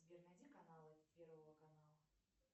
сбер найди каналы первого канала